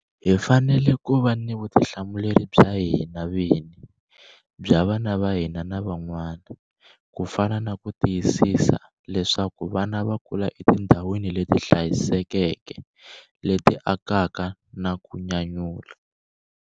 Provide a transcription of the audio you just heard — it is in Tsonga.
Hi fanele ku va ni vutihlamuleri bya hina vini, bya vana va hina na van'wana. Ku fana na ku tiyisisa leswaku vana va kula etindhawini leti hlayisekeke, leti akaka na ku nyanyula.